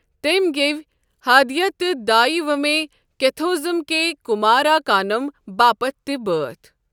تٔمۍ گیٚوۍ حادیہ تہٕ دایہ ومے کیتھوزھم کے کمار اکانم باپتھ تہِ بٲتھ ۔